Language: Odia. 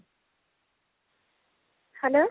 hello